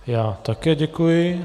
Já také děkuji.